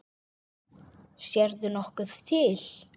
Sérðu nokkuð til?